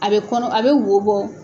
A bɛ kɔnɔ a bɛ wo bɔ.